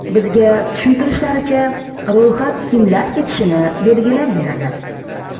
Bizga tushuntirishlaricha, ro‘yxat kimlar ketishini belgilab beradi.